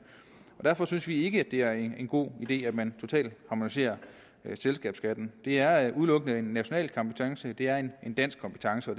derfor synes vi ikke at det er en god idé at man totalt harmoniserer selskabsskatten det er udelukkende en national kompetence det er en dansk kompetence og